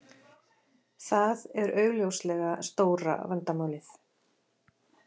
Það er augljóslega stóra vandamálið